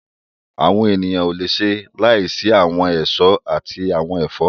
Àwọn èèyàn ò le ṣe láìsí àwọn èso àti àwọn ẹ̀fọ́